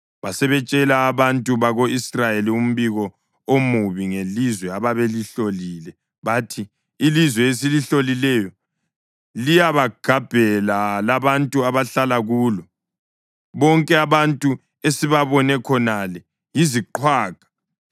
Basebetshela abantu bako-Israyeli umbiko omubi ngelizwe ababelihlolile. Bathi, “Ilizwe esilihlolileyo liyabagabhela labantu abahlala kulo. Bonke abantu esibabone khonale yiziqhwaga.